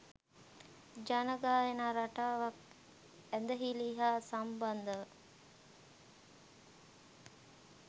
ජන ගායනා රටාවක් ඇදහිලි හා සම්බන්ධව